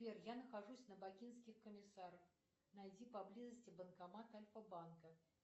сбер я нахожусь на бакинских комиссаров найди поблизости банкомат альфабанка